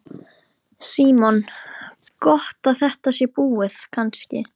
Símon: Gott að þetta sé búið kannski?